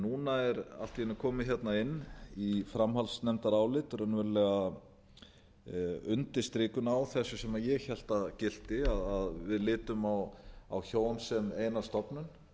núna er allt í einu komið hérna inn í framhaldsnefndarálit raunverulega undirstrikun á þessu sem ég hélt að gilti að við litum á hjón sem eina stofnun